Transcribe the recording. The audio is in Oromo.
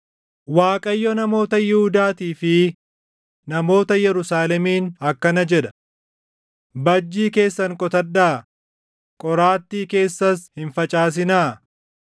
Waaqayyo namoota Yihuudaatii fi namoota Yerusaalemiin akkana jedha: “Bajjii keessan qotadhaa; qoraattii keessas hin facaasinaa.